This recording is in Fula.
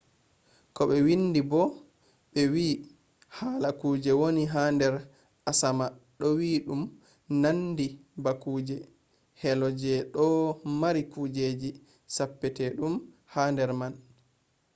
ko ɓe windi bo ɓe wi hala kuje woni ha nder asama ɗo wi ɗum ɗo nandi ba kuje helo je ɗo mari kujeji perpetum ha nder man